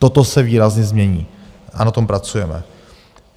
Toto se výrazně změní a na tom pracujeme.